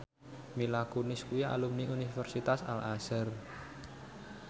Mila Kunis kuwi alumni Universitas Al Azhar